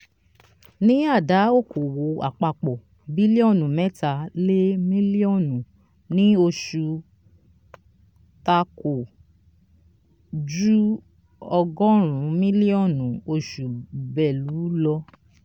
ní àdá òkòwò àpapọ biliọnu mẹta lè mílíọ̀nù ní oṣù takò ju ọgọrin mílíọ̀nù oṣù belu lọ.